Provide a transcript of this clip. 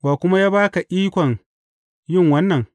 Wa kuma ya ba ka ikon yin wannan?